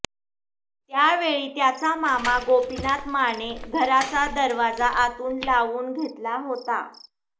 त्यावेळी त्याचा मामा गोपिनाथ याने घराचा दरवाजा आतून लावून घेतला होता